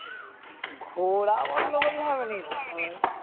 ঘরা বন্ধ করলে হবে নাকি